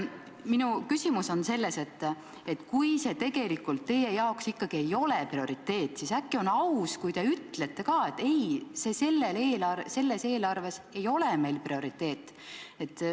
Minu küsimus on selles, et kui see tegelikult teie arvates ikkagi ei ole prioriteet, siis äkki oleks aus, kui te ütleksitegi, et ei, see ei ole selle eelarve prioriteet.